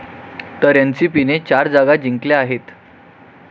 तर एनसीपीने चार जागा जिंकल्या आहेत.